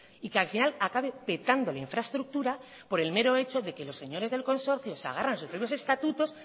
y que al final acabe petando la infraestructura por el mero hecho de que los señores del consorcio se agarran sobre unos estatutos